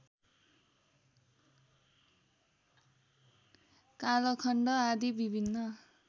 कालखण्ड आदि विभिन्न